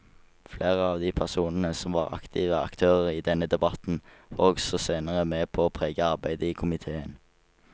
Flere av de personene som var aktive aktører i denne debatten var også senere med på å prege arbeidet i komiteen.